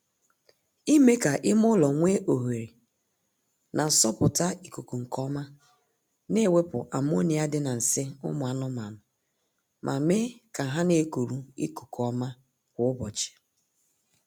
Ime ka ime ụlọ nwee ohere na-asọpụta ikuku nkeọma na-ewepụ ammonia dị na nsị ụmụ anụmaanụ ma mee ka ha na-ekuru ikuku ọma kwa ụbọchị